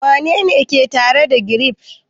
Wane ne ke tare da gfresh?